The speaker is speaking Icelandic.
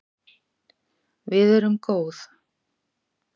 Við erum góð